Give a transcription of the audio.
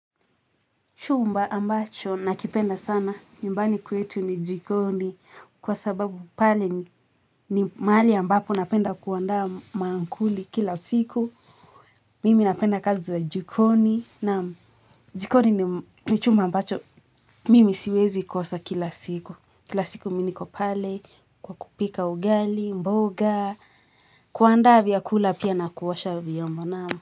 Chumba ambacho na kipenda sana, nyumbani kwetu ni jikoni, kwa sababu pale ni mahali ambapo napenda kuandaa maankuli kila siku. Mimi napenda kazi za jikoni, naam jikoni ni chumba ambacho. Mimi siwezi kosa kila siku. Kila siku mi niko pale kwa kupika ugali, mboga, kuandaa vyakula pia na kuosha vyombo naam.